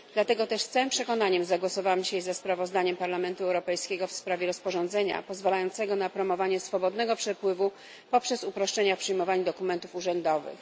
Dlatego też z całym przekonaniem zagłosowałam dzisiaj ze sprawozdaniem Parlamentu Europejskiego w sprawie rozporządzenia pozwalającego na promowanie swobodnego przepływu poprzez uproszczenia w przyjmowaniu dokumentów urzędowych.